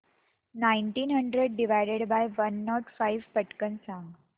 nineteen hundred divided by one not five पटकन सांग